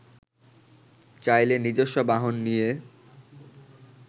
চাইলে নিজস্ব বাহন নিয়ে